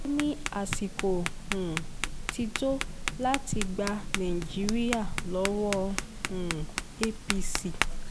ó ní àsìkò um ti tó láti gba nàìjíríà lọ́wọ́ um apc